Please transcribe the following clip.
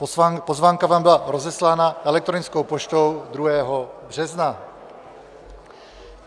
Pozvánka vám byla rozeslána elektronickou poštou 2. března.